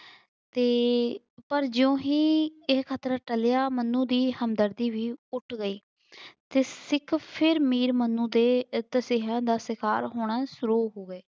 ਤੇ ਪਰ ਜਿਓਂ ਹੀ ਇਹ ਖ਼ਤਰਾ ਟਲਿਆ ਮੰਨੂ ਦੀ ਹਮਦਰਦੀ ਵੀ ਗਈ ਤੇ ਸਿੱਖ ਫਿਰ ਮੀਰ ਮਨੂੰ ਦੇ ਤਸੀਹਿਆਂ ਦਾ ਸਿਕਾਰ ਹੋਣਾ ਸੁਰੂ ਹੋ ਗਏ